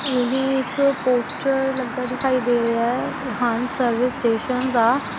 ਇਹ ਇੱਕ ਪੋਸਟਰ ਲੱਗਾ ਦਿਖਾਈ ਦੇ ਰਿਹਾ ਹੈ ਰਿਹਾਨ ਸਰਵਿਸ ਸਟੇਸ਼ਨ ਦਾ।